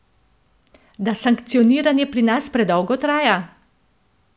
Da sankcioniranje pri nas predolgo traja?